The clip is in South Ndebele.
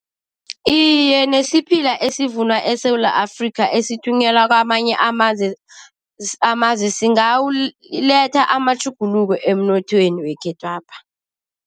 Iye, nesiphila esivunwa eSewula Afrika esithunyelwa kwamanye amazwe singawuletha amatjhuguluko emnothweni wekhethwapha.